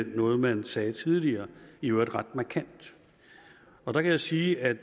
noget man sagde tidligere i øvrigt ret markant der kan jeg sige at